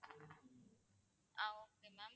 ah okay ma'am